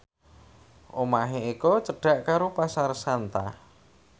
omahe Eko cedhak karo Pasar Santa